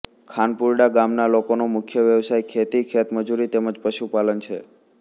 ખાનપુરડા ગામના લોકોનો મુખ્ય વ્યવસાય ખેતી ખેતમજૂરી તેમ જ પશુપાલન છે